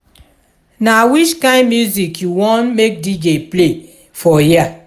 na which kain music you want make dj play for here.